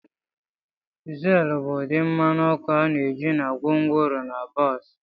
Diesel bụ ụdị mmanụ ọkụ a na-eji na gwongworo na bọs.